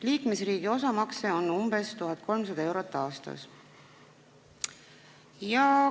Liikmesriigi osamakse on umbes 1300 eurot aastas.